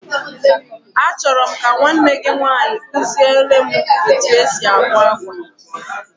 A chọrọ m ka nwanne gị nwaanyị kuziele m etu e si akwa akwa.